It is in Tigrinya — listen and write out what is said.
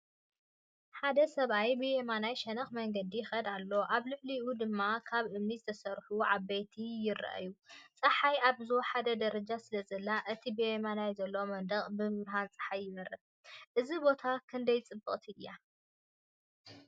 ሓደ ሰብኣይ ብየማናይ ሸነኽ መንገዲ ይኸይድ ኣሎ። ኣብ ልዕሊኡ ድማ ካብ እምኒ ዝተሰርሑ ኣባይቲ ይረኣዩ። ጸሓይ ኣብ ዝወሓደ ደረጃ ስለ ዘላ፡ እቲ ብየማን ዘሎ መንደቕ ብብርሃን ጸሓይ ይበርህ። እዚ ቦታ ክንደይ ጽብቕቲ እያ?